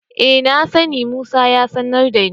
E, na sani, Musa ya sanar da ni.